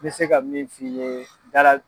N bɛ se ka min f'i ye dala